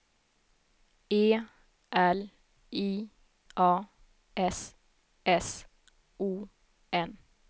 E L I A S S O N